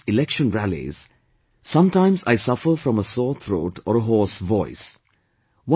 When I address election rallies, sometimes I suffer from a sore throat or a hoarse voice